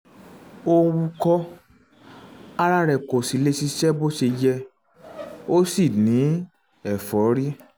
ó ń wúkọ́ ara rẹ̀ kò lè ṣiṣẹ́ bó ṣe yẹ ó sì ń ní ẹ̀fọ́rí